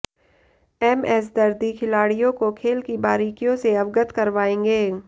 MS Dardi खिलाडि़यों को खेल की बारीकियों से अवगत करवाएंगे